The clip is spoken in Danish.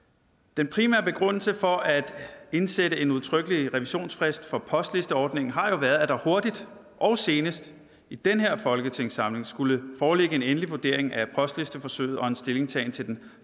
den primære begrundelse for at indsætte en udtrykkelig revisionsfrist for postlisteordningen har jo været at der hurtigt og senest i den her folketingssamling skulle foreligge en endelig vurdering af postlisteforsøget og en stillingtagen til den